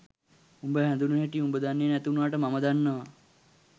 උඹ හැදුනු හැටි උඹ දන්නෙ නැති වුනාට මම දන්නවා